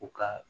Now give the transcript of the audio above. U ka